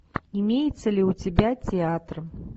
имеется ли у тебя театр